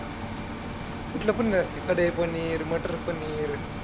कुठलं पनीर असतंय कढई पनीर, मटर पनीर?